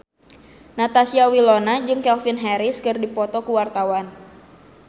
Natasha Wilona jeung Calvin Harris keur dipoto ku wartawan